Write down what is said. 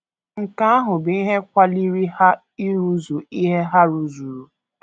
Nke ahụ bụ ihe kwaliri ha ịrụzu ihe ha rụzuru. ”